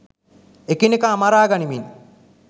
එකිනෙකා මරා ගනිමින්